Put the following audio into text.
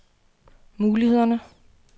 mulighederne